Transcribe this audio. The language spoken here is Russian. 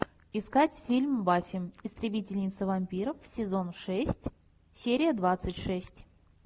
искать фильм баффи истребительница вампиров сезон шесть серия двадцать шесть